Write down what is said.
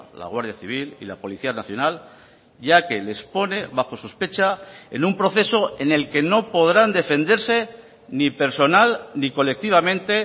la guardia civil y la policía nacional ya que les pone bajo sospecha en un proceso en el que no podrán defenderse ni personal ni colectivamente